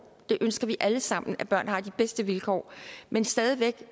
vi ønsker alle sammen at børn har de bedste vilkår men stadig væk